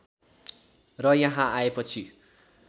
र यहाँ आएपछि